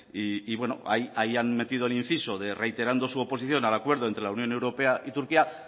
y bueno ahí han metido el inciso de reiterando su oposición al acuerdo entre la unión europea y turquía